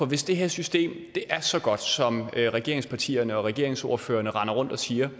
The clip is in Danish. hvis det her system er så godt som regeringspartierne og regeringsordførerne render rundt og siger